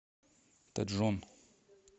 тэджон